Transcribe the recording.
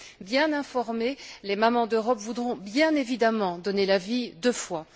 Bien informées, les mamans d'Europe voudront bien évidemment donner la vie deux fois.